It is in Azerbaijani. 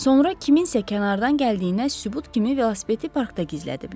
Sonra kimsənin kənardan gəldiyinə sübut kimi velosipedi parkda gizlədiblər.